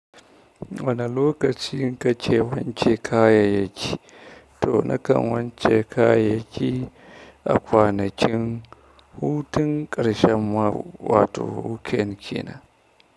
Wane lokaci ka ke wake kayayyaki? To nakan wance kayayyaki akwanakin hutun ƙarshen mako, wato weekend kina.